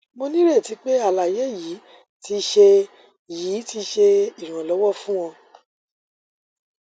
mo nireti pe alaye yii ti ṣe yii ti ṣe iranlọwọ fun ọ